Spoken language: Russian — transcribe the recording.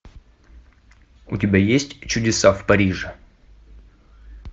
у тебя есть чудеса в париже